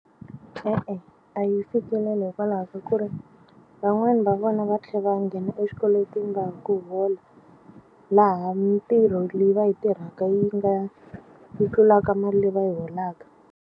E-e, a yi fikeleli hikwalaho ka ku ri van'wani va vona va tlhe va nghena eswikweletini va ha ku hola laha mitirho leyi va yi tirhaka yi nga yi tlulaka mali leyi va yi holaka.